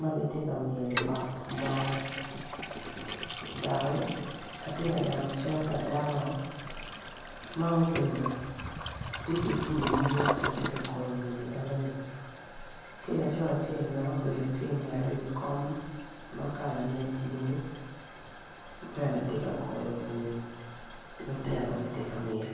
magitye ka ngiyo ot mo doki atye ka neno cal pa dako ma obedo tye ki bul i nyime kun tye ka goyo wiye enoni ki laco acel bene obedo ki ngete i wi kom makalane blue en bene tye ka goyo bul ki lutino tye ka myel.